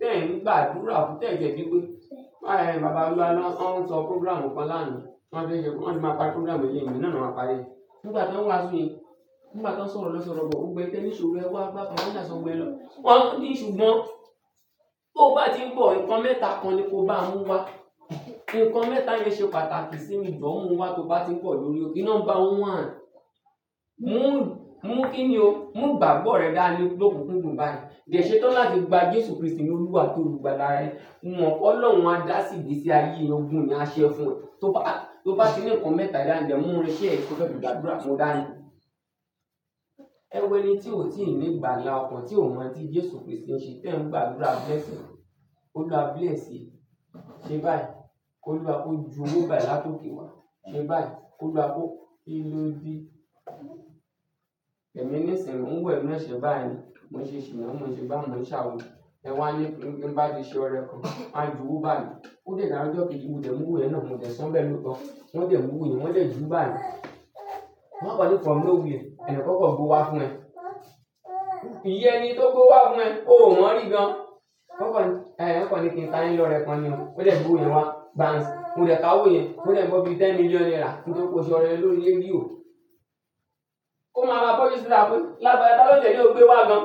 Tẹ́ẹ̀ nígbà dúró, tẹ́ẹ̀ jẹ́ pé pé, à-ën bàbá Ọlọ́run án sọ program kan lánàá, wọn fẹ́ ṣe kó, wọn máa pa program ilẹ̀ yìí nínàá, wọn máa parí rẹ̀. Nígbà tó ń wá síbi yìí, nígbà tó ń sọ̀rọ̀ lọ́ṣọ̀ọ̀rọ̀ bọ̀, ó gbe téńìṣò rẹ wá, gbá bàbá náà sọ bọ́ ẹ lọ. Wọ́n ní ṣùgbọ́n tó bá ti ń bọ̀, nǹkan mẹ́ta kan ni kó bá mú wá. Ǹkan mẹ́ta yẹn ṣe pàtàkì sí mi jọ, mú u wá tó bá ti ń bọ̀ lórí òkè. Number one, mú, mú kí ni o? Mú igbagbo rẹ dání lokunkúndùn báyìí. Dẹ sétan làti gba Jésù Kristi ni Olúwa at'ólugbála rẹ. Wọn pé Ọlọ́run á dá sí ibi tí ayé ogún ni a ṣẹ́ fún ẹ. Tó bá, tó bá ti ní ǹkan mẹ́ta yẹn lẹ́ẹ̀, mú wọn ṣẹ́ ẹ kó fẹ́ dùn gbàdúrà mó dáa ni. Ẹ wọ ẹni tí ó sì ń ní ìgbàlà ọkàn, tí ó mọ̀ tí Jésù Kristi ń ṣe tẹ́ẹ̀ ń gbàdúrà bless him. Óluwa bless e se báyìí, k'oluwa kó ju owó báyìí látòké wa. Sé báyìí k'ólùwa kó. Kí ló dé? Ẹ̀mi ní ìsìn, mò ń wẹ̀ mọ́ ẹṣẹ báyìí ni. Mò ń ṣè sina, mò ń ṣegbá mò ń ṣàwo. Ẹ wá ní kí n bá ti ṣẹ́ ọ̀rẹ́ kan. A ju wó báyìí. Ó de daaro ojo keji mo de mu owo yẹn náà, mò dẹ̀ san bẹ́ẹ̀ lóòótọ́. Wọn dẹ̀ mú owò yẹn, wọ́n dẹ̀ ju báyìí. Wọ́n kan ní from nowhere. Ẹ̀eyan kan kan gb'owo wá fún ẹ. Eyi eni tó gb'owo wá fún ẹ, ó mọ̀ ri gan. Wọ́n kọ ní, à-ën wọ́n kọ ní kí n ta ayín lọ́rẹ́ kan ni. Ó dẹ̀ gbé òyẹ wá, gban sì. O de ka owó yẹn, mó dẹ̀ n gbo bí i ten million naira nítóripe ó ṣe ọ̀rẹ́ lórí rédíò. Ó máa bá purchase rà pé, lábẹ́ Ọlọ́jẹ̀ léò gbé wá gan.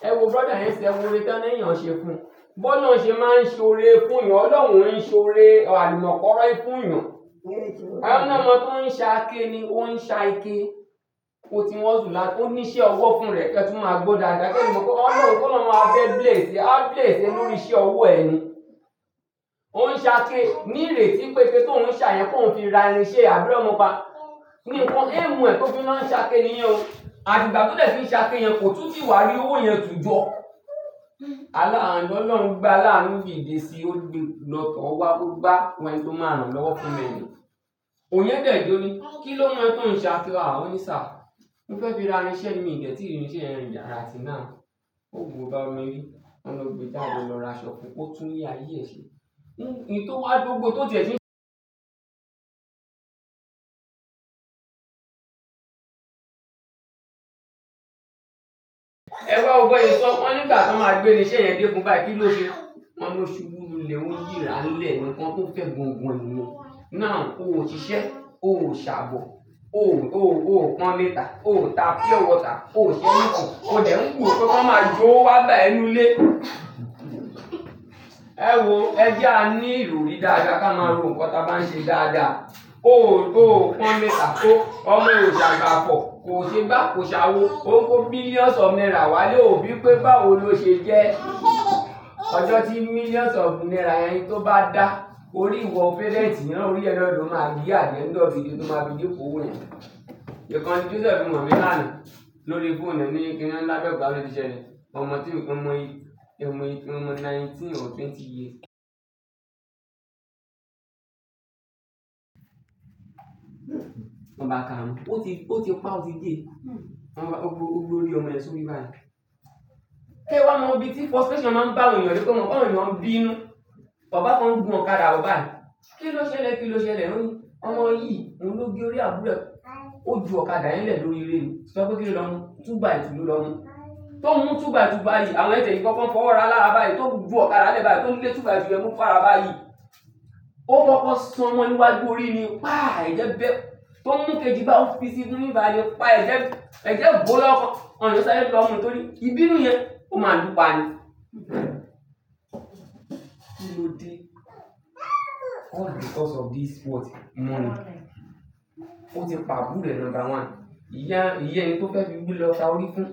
Ẹ wo brother yẹn nsìín, ẹ wo oore tán ni èèyàn ṣe fún un. B'ọ́lọ́un ṣe máa ń ṣoore fún'yàn, Ọlọ́run ò ń ṣoore àlùmọ̀kọ́rọ́yí fún'yàn. Wọ́n l'ọ́mọ tó ń ṣake ni, ó ń ṣa ike. Ó ti ń hustle láti, ó ní iṣẹ́ ọwọ́ fúnra ẹ̀ kí ẹ tún máa gbọ́ dáadáa. Kí ẹni mo mọ̀, Ọlọ́run kọ́ ló máa fẹ́ bless, áá bless ẹ lórí iṣẹ́ ọwọ́ ẹ ni. Ó ń ṣake ni ìrètí pé ike tóun ń ṣà yẹn, kóun fi ra irin iṣẹ́, àbírọ́ mo pa? Nǹkan aim ẹ̀ tó fi máa ń ṣake níyẹn o. Àtìgbà tó dẹ̀ ti ń ṣake yẹn kò tún tì wá rí owó yẹn tù jọ. Aláàánú Ọlọ́run gbé aláàánú dìde síi òde lọ tọ̀ ọ́ wá kó gba ẹni tó máa rán lọ́wọ́ fún ẹ ni. Òyẹ ń bẹ̀ tó ní, kí ló mọ ẹ́ tó ń ṣe àti wàá? Ó ní, sir, mo fẹ́ fi ra irinṣẹ́ miì dẹ̀ tíì rí irinṣẹ́ yẹn rà till now. Ó bu gbogbo ọmọ ẹni, wọ́n lọ gbé jáde ó lọ ra aṣọ fun, ó túnlé ayé ẹ̀ ṣe. Ohun tí ó wá gbogbo tó di ẹṣin. Ẹ wá wo b'ọ́n ṣe sọ ọ́? Wọ́n ní ìgbà t'ọ́n máa gbé irinṣẹ́ yẹn dé fún báyìí, kí ló ṣe? Wọn ló ṣubú lulẹ̀, ó ń yíràá ńlẹ̀, nǹkan tó fẹ́ gangan nìyẹn. Now, o ò ṣiṣẹ́, o ò ṣàbọ̀, o ò, o ò pọnmi tà, o ò ta pure water, o ò ṣe anything. O tẹ́lẹ̀ ń gù ó tó kọ́ máa ju wó wá gbà ẹ nínú ilé. Ẹ wò, ẹ jẹ́ a ní ìròrí dáadáa ká máa rò nǹkan táa bá ń ṣe dáadáa. O ò, o ò pọnmi tà, o, ọmọ ẹ ò sàgbàfọ̀, kò ṣegbá, kò ṣàwo. Ó ń kó millions of naira wálé o ò bií pé báwo ló ṣe jẹ́. Ọjọ́ tí millions of naira yẹn tó bá dá, órí ìwọ fẹ́lẹ́ntíìnì rán orí ẹ náà ló máa gé at the end of the day tó máa fi make owó yẹn. Ìkànnì tí ó ṣẹ̀ fún ọmọ mi lánàá lórí phone rẹ̀ ní kí wọ́n l'Abẹ́òkúta ló ti ṣẹlẹ̀. Ọmọ tí, ọmọ yìí, ẹ̀mọ yìí, ọmọ nineteen or twenty years. Wọ́n bá káa mú, ó ti, ó ti paá, ó ti dée. Wọn bá, ó gbórí ọmọ yẹn sórí báyìí. Kẹ́ẹ́ wá mọ bí tí frustration máa ń bá èèyàn rí tóo mọ̀ pé àwọn èèyàn ń bínú. Bàbá kan ń gùn ọ̀kadà bọ̀ báyìí. Kí ló ṣẹlẹ̀? Kí ló ṣẹlẹ̀? Wọ́n ní ọmọ yìí, òun ló gé orí àbúrò ẹ̀. Ó ju ọ̀kadà yẹn lẹ̀ lórí eré ni. Sọ pé kí ló lọ mú? 2 by 2 ló lọ mú. Tó mú 2 by 2 báyìí, àwọn yẹn tiẹ̀ ṣì kọ́kọ́ n fọwọ́ raá lára báyìí. Tó gun ọ̀kadà 'lẹ̀ báyìí, tó ń gbé 2 by 2 mú fára báyìí, ó kọ́kọ́ san mọ́-ọn níwájú orí ni. Páà! Ẹ̀jẹ̀ bẹ́. Tó mú kejì báyìí ó fisi níbí bàyìí ni Páì! Ẹ jẹ́, ẹ̀jẹ́ gbó lọ́kàn. Ẹ̀ni tó sáyé lọ mú nítorí ìbínú yẹn, ó máa lùú pa ni. Kí ló dé? All because of this, what, money, ó ti pa àbúrò ẹ̀, number one. Ìyá ẹni tó fẹ́ lọ ta orí fún.